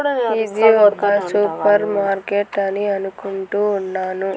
ఇది ఒక supermarket అని అనుకుంటూ ఉన్నాను.